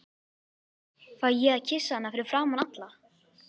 Fæ ég að kyssa hana fyrir framan alla?